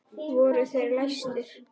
Voru þeir læstir.